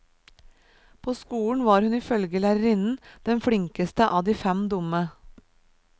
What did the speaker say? På skolen var hun i følge lærerinnen den flinkeste av de fem dumme.